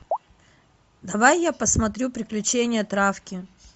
давай я посмотрю приключения травки